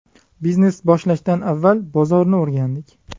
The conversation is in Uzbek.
Biznes boshlashdan avval bozorni o‘rgandik.